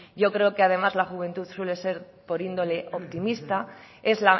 yo creo que además la juventud suele ser por índole optimista es